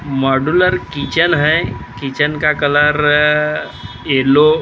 modular kitchen है kitchen का colour uh yellow --